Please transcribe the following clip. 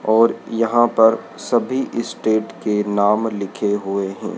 और यहां पर सभी स्टेट के नाम लिखे हुए हैं।